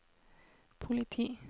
politi